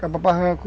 Quebra barranco.